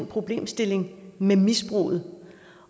problemstillingen med misbrug